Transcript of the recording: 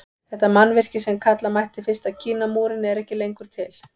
Þetta mannvirki sem kalla mætti fyrsta Kínamúrinn er ekki lengur til.